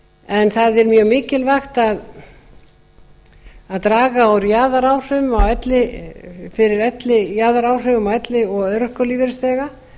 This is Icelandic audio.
en það er mjög mikilvægt að draga úr jaðaráhrifum á elli og örorkulífeyrisþega